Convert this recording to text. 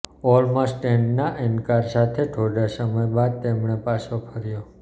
ઓલ્મસ્ટેડના ઇનકાર સાથે થોડા સમય બાદ તેમણે પાછો ફર્યો